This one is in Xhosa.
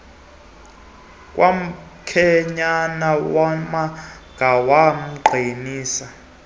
kamkhwenyana wamanga wamqinisa